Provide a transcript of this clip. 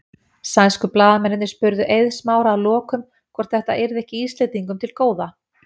Sænsku blaðamennirnir spurðu Eið Smára að lokum hvort þetta yrði ekki Íslendingum til góða?